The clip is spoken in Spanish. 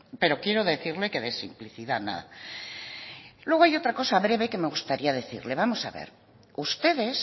pero quiero decirle que de simplicidad nada luego hay otra cosa breve que me gustaría decirle vamos a ver ustedes